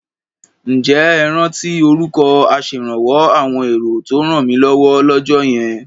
Ǹjẹ́ ẹ rántí orúkọ aṣèrànwọ́ àwọn èrò tó rànmílọ́wọ́ lọ́jọ́ yẹn?